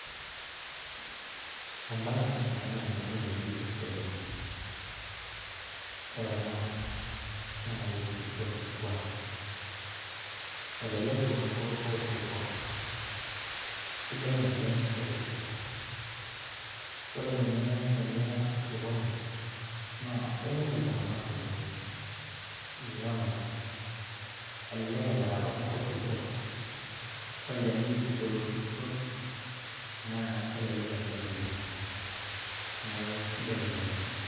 Embaye ena nanyorunoyu oleng, ore ena naa keji orkikua, elelek eunoto orkikua, sidai naleng orkikua ore ninye tiniya osokoni naa enyorr ltunganak kumok, inyang'u elelek emirata orkikua, ore ilcheni obol orkikua naa kelelek encheni enye neaku esidai ena oleng.